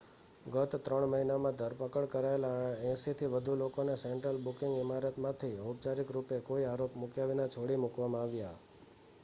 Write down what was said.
ગત 3 મહિનામાં ધરપકડ કરાયેલા 80થી વધુ લોકોને સેન્ટ્રલ બુકિંગ ઇમારતમાંથી ઔપચારિક રૂપે કોઈ આરોપ મૂક્યા વિના છોડી મૂકવામાં આવ્યા